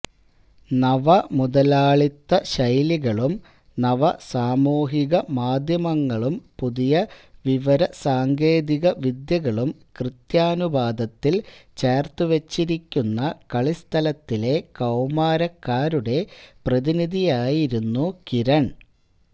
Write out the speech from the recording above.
നവമുതലാളിത്ത ശൈലികളും നവസാമൂഹികമാധ്യമങ്ങളും പുതിയ വിവരസാങ്കേതികവിദ്യകളും കൃത്യാനുപാതത്തിൽ ചേർത്തു വെച്ചിരിക്കുന്ന കളിസ്ഥലത്തിലെ കൌമാരക്കാരുടെ പ്രതിനിധിയായിരുന്നു കിരൺ